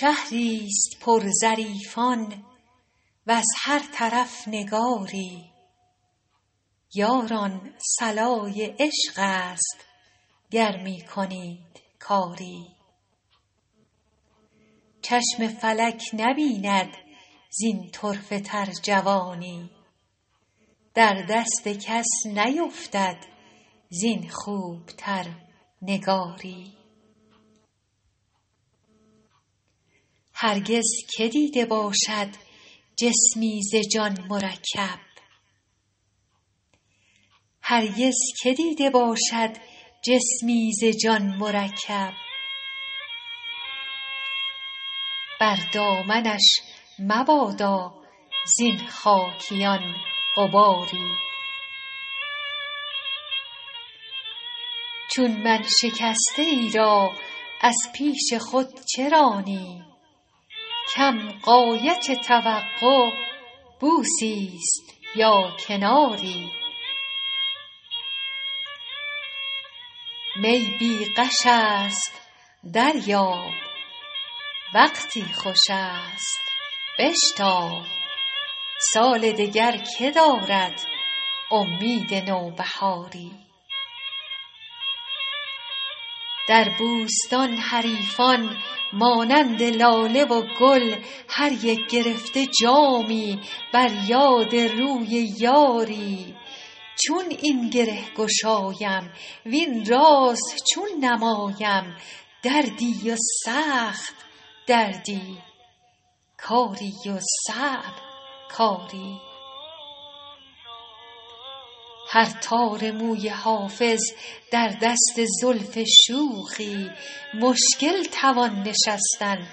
شهری ست پر ظریفان وز هر طرف نگاری یاران صلای عشق است گر می کنید کاری چشم فلک نبیند زین طرفه تر جوانی در دست کس نیفتد زین خوب تر نگاری هرگز که دیده باشد جسمی ز جان مرکب بر دامنش مبادا زین خاکیان غباری چون من شکسته ای را از پیش خود چه رانی کم غایت توقع بوسی ست یا کناری می بی غش است دریاب وقتی خوش است بشتاب سال دگر که دارد امید نوبهاری در بوستان حریفان مانند لاله و گل هر یک گرفته جامی بر یاد روی یاری چون این گره گشایم وین راز چون نمایم دردی و سخت دردی کاری و صعب کاری هر تار موی حافظ در دست زلف شوخی مشکل توان نشستن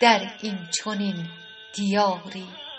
در این چنین دیاری